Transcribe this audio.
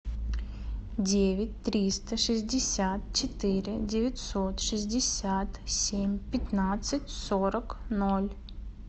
девять триста шестьдесят четыре девятьсот шестьдесят семь пятнадцать сорок ноль